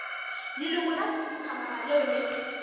leloko la khuduthamaga leo le